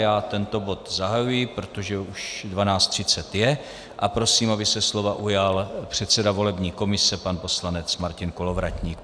Já tento bod zahajuji, protože už 12.30 je, a prosím, aby se slova ujal předseda volební komise pan poslanec Martin Kolovratník.